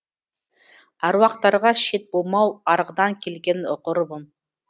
аруақтарға шет болмау арғыдан келген ғұрыбым